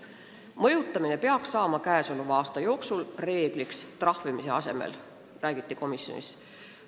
Trahvimise asemel mõjutamine peab selle aasta jooksul reegliks saama, räägiti komisjonis.